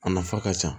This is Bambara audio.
A nafa ka ca